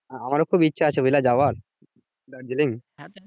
আমারও খুব ইচ্ছে আছে বুঝলে যাওয়ার দার্জিলিং।